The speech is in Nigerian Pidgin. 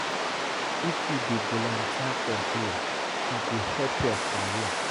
If you dey volunteer for there, e go help your career.